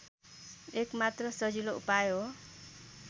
एकमात्र सजिलो उपाय हो